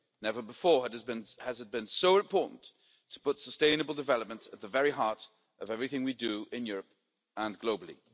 Never before has it been so important to put sustainable development at the very heart of everything we do in Europe and globally.